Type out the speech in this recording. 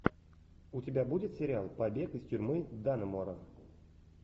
у тебя будет сериал побег из тюрьмы даннемора